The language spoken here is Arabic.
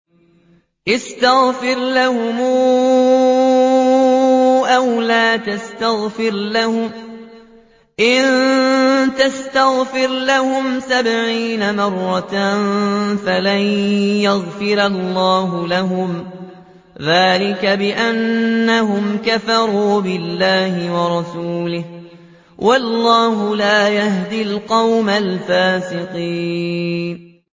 اسْتَغْفِرْ لَهُمْ أَوْ لَا تَسْتَغْفِرْ لَهُمْ إِن تَسْتَغْفِرْ لَهُمْ سَبْعِينَ مَرَّةً فَلَن يَغْفِرَ اللَّهُ لَهُمْ ۚ ذَٰلِكَ بِأَنَّهُمْ كَفَرُوا بِاللَّهِ وَرَسُولِهِ ۗ وَاللَّهُ لَا يَهْدِي الْقَوْمَ الْفَاسِقِينَ